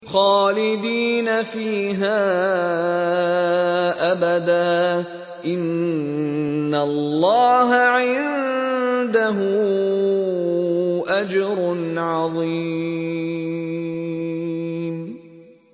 خَالِدِينَ فِيهَا أَبَدًا ۚ إِنَّ اللَّهَ عِندَهُ أَجْرٌ عَظِيمٌ